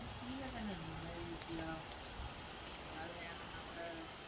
கீழதானே அதனால easy அஹ் எதாவது வேணும்னா கூட